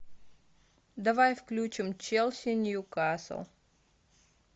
давай включим челси ньюкасл